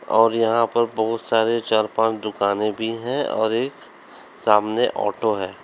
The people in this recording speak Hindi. और यहां पर बोहोत सारे चार पांच दुकानें भी हैं और एक सामने ऑटो है।